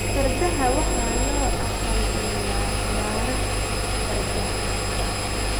Fardaha waxa loo aqal-geliyaa ciyaaraha fardaha.